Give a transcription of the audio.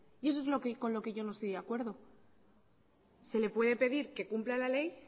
y eso es con lo que yo no estoy de acuerdo se le puede pedir que cumpla la ley